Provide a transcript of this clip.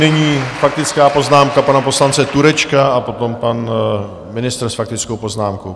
Nyní faktická poznámka pana poslance Turečka a potom pan ministr s faktickou poznámkou.